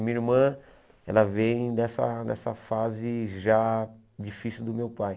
E minha irmã ela vem dessa dessa fase já difícil do meu pai.